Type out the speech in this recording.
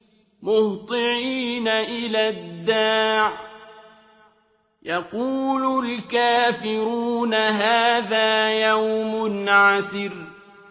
مُّهْطِعِينَ إِلَى الدَّاعِ ۖ يَقُولُ الْكَافِرُونَ هَٰذَا يَوْمٌ عَسِرٌ